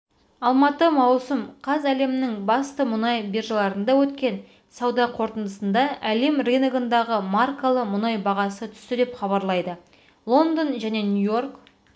алматы маусым қаз әлемнің басты мұнай биржаларында өткен сауда қортындысында әлем рыногындағы маркалы мұнай бағасы түсті деп хабарлайды лондон және нью-йорк